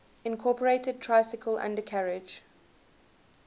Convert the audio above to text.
incorporated tricycle undercarriage